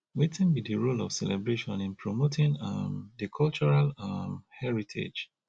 wetin be di role of celebration in promoting um di cultural um heritage